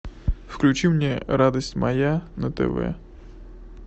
включи мне радость моя на тв